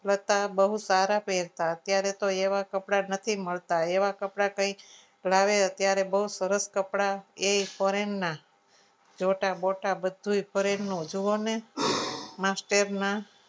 છતાં બહુ સારા પહેરતા અત્યારે તો એવા કપડાં નથી મળતા એવા કપડાં કંઈ લાવે બહુ સરસ કપડાં એ foreign ના જોતા-બોટા બધું જ બધું જ ફોરેન નું જુઓ ને master ના